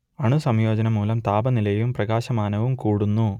അണുസംയോജനം മൂലം താപനിലയും പ്രകാശമാനവും കൂടുന്നു